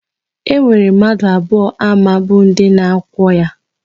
E nwere mmadu abụọ ama bụ ndi na-akwọ ya.